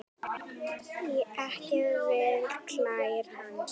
Ekki við klær hans.